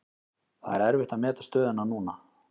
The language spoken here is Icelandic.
Það er erfitt að meta stöðuna núna.